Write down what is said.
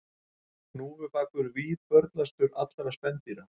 Hnúfubakur víðförlastur allra spendýra